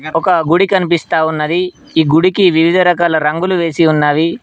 ఒక గుడి కనిపిస్తా ఉన్నది ఈ గుడికి వివిధ రకాల రంగులు వేసి ఉన్నవి.